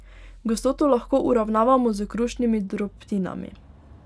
Gostoto lahko uravnavamo s krušnimi drobtinami.